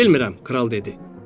Bilmirəm, kral dedi.